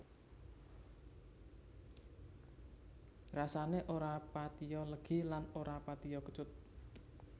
Rasané ora patiya legi lan ora patiya kecut